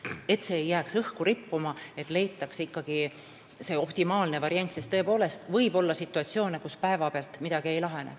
Tähtis on, et probleem ei jääks õhku rippuma ja leitakse ikkagi optimaalne lahendusvariant, sest tõepoolest võib olla situatsioone, mis päeva pealt ei lahene.